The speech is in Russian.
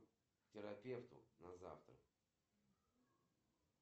афина какая площадь у города вытегра